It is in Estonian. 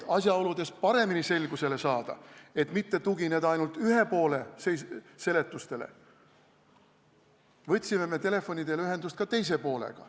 Et paremini selgusele saada, et mitte tugineda ainult ühe poole seletustele, võtsime me telefoni teel ühendust ka teise poolega.